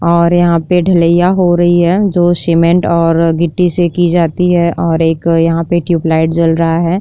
और यहाँ पे ढ़लैया हो रही है जो सीमेंट और गिट्टी से की जाती है और एक यहाँ पे ट्यूबलाइट जल रहा है।